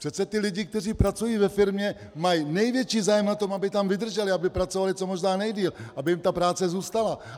Přece ti lidé, kteří pracují ve firmě, mají největší zájem na tom, aby tam vydrželi, aby pracovali co možná nejdéle, aby jim ta práce zůstala.